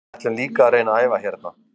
Við ætlum líka að reyna að æfa hérna.